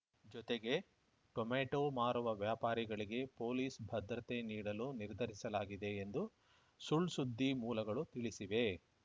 ಜೊತೆಗೆ ಟೊಮೆಟೋ ಮಾರುವ ವ್ಯಾಪಾರಿಗಳಿಗೆ ಪೊಲೀಸ್‌ ಭದ್ರತೆ ನೀಡಲು ನಿರ್ಧರಿಸಲಾಗಿದೆ ಎಂದು ಸುಳ್‌ಸುದ್ದಿ ಮೂಲಗಳು ತಿಳಿಸಿವೆ